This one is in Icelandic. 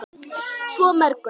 Svo mörgu.